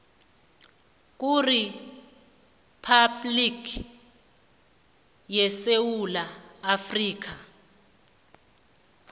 kuriphabhligi yesewula afrika